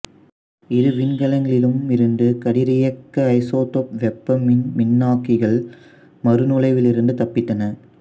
இரு விண்கலங்களிலிலும் இருந்த கதிரியக்க ஐசோடோப்பு வெப்பமின் மின்னாக்கிகள் மறுநுழைவிலிருந்து தப்பித்தன